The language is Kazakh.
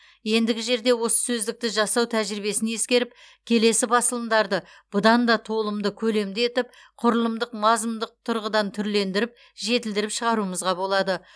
ендігі жерде осы сөздікті жасау тәжірибесін ескеріп келесі басылымдарды бұдан да толымды көлемді етіп құрылымдық мазмұндық тұрғыдан түрлендіріп жетілдіріп шығаруымызға болады